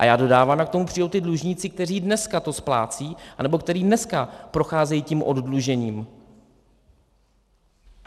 A já dodávám, jak k tomu přijdou ti dlužníci, kteří dneska to splácejí anebo kteří dneska procházejí tím oddlužením.